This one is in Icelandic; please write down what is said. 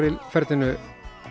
í ferlinu